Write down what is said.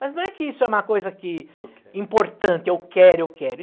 Mas não é que isso é uma coisa que, é o que, importante, eu quero, eu quero. E,